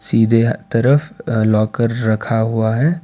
सीधे तरफ अह लॉकर रखा हुआ है।